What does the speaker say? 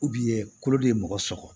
kolo de ye mɔgɔ sɔgɔ